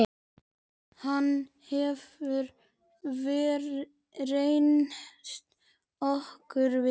Hann hefur reynst okkur vel.